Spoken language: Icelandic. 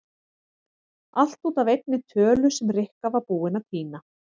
Allt út af einni tölu sem Rikka var búin að týna.